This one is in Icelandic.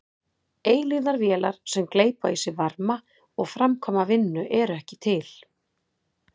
Eilífðarvélar sem gleypa í sig varma og framkvæma vinnu eru ekki til.